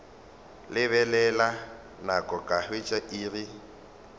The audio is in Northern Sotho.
lebelela nako ka hwetša iri